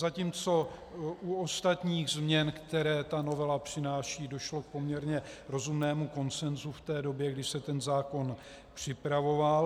Zatímco u ostatních změn, které ta novela přináší, došlo k poměrně rozumného konsenzu v té době, když se ten zákon připravoval.